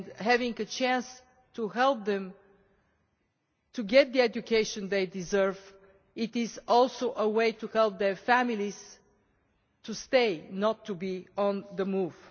Having a chance to help them to get the education they deserve is also a way to help their families to stay and not to be on the move.